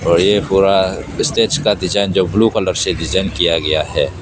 और ये पूरा स्टेज का डिजाइन जो ब्लू कलर से डिजाइन किया गया है।